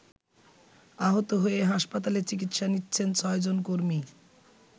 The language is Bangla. আহত হয়ে হাসপাতালে চিকিৎসা নিচ্ছেন ৬ জন কর্মী।